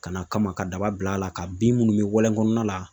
Ka n'a kama ka daba bil'a la ka bin minnu bɛ walen kɔnɔna la .